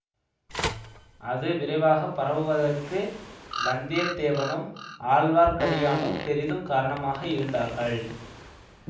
அது விரைவாகப் பரவுவதற்கு வந்தியத்தேவனும் ஆழ்வார்க்கடியானும் பெரிதும் காரணமாக இருந்தார்கள்